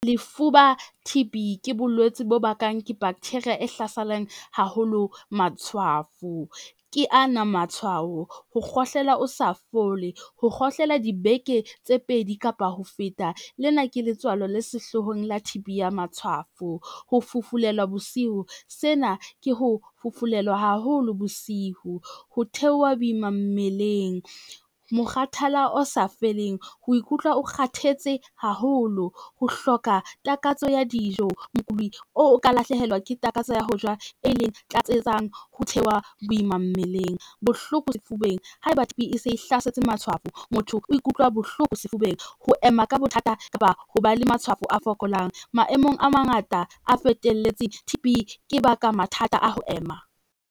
Lefuba T_B ke bolwetsi bo bakang ke bacteria e hlaselang haholo matshwafo. Ke ana matshwao, ho kgohlela o sa fole, ho kgohlela dibeke tse pedi kapa ho feta lena ke letswalo le sehloohong la T_B ya matshwafo, ho fufulelwa bosiu sena ke ho fufulelwa haholo bosiu. Ho theoha boima mmeleng, mokgathala o sa feleng, ho ikutlwa o kgathetse haholo, ho hloka takatso ya dijo mokodi o ka lahlehelwa ke takatso ya ho ja e leng tlatsetsang ho theoha boima mmeleng, bohloko sefubeng haeba T_B e se hlasetse matshwafo, motho o ikutlwa bohloko sefubeng, ho ema ka bothata kapa ho ba le matshwafo a fokolang maemong a mangata a fetelletseng T_B ke baka mathata a ho ema.